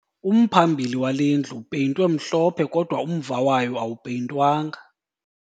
Umphambili wale ndlu upeyintwe mhlophe kodwa umva wayo awupeyintwanga